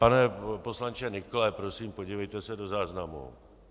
Pane poslanče Nykle, prosím, podívejte se do záznamu.